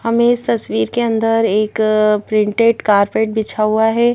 हमें इस तस्वीर के अंदर एक प्रिंटेड कारपेट बिछा हुआ है।